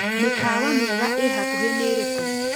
mĩkawa miēga ĩhakuhi nĩĩrikũ